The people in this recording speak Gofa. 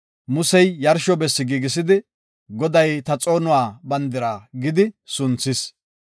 Musey yarsho bessi giigisidi, “Goday ta xoonuwa bandira” gidi sunthis.